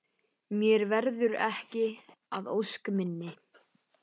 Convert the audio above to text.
Mér verður ekki að ósk minni.